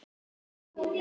Ég segi nei, takk.